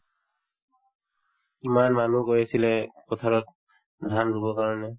ইমান মানুহ গৈ আছিলে পথাৰত ধান ৰুবৰ কাৰণে